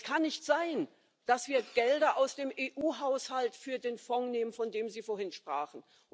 Das kann nicht sein, dass wir die Gelder aus dem EU Haushalt für den Fonds nehmen, von dem Sie vorhin sprachen.